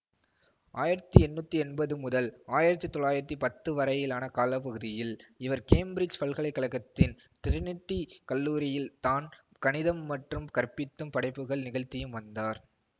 ஆயிரத்தி எண்ணூற்றி எம்பது முதல் ஆயிரத்தி தொள்ளாயிரத்தி பத்து வரையிலான கால பகுதியில் இவர் கேம்பிரிட்ஜ் பல்கலை கழகத்தின் டிரினிட்டி கல்லூரியில் தான் கணிதம் மற்றும் கற்பித்தும் படைப்புகள் நிகழ்த்தியும் வந்தார்